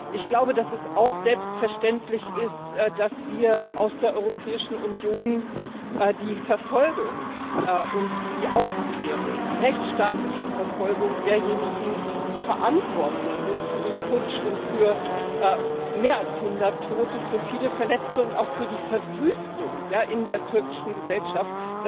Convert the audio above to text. Ich glaube, dass es auch selbstverständlich ist, dass wir aus der Europäischen Union die Verfolgung und die Aufklärung, die rechtsstaatliche Verfolgung derjenigen, die verantwortlich sind für den Putsch und für mehr als 100 Tote, für viele Verletzte und auch für die Verwüstung in der türkischen Gesellschaft,